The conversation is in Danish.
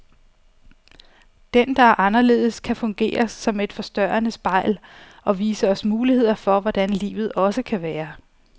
Den, der er anderledes, kan fungere som et forstørrende spejl, og vise os muligheder for hvordan livet også kan være.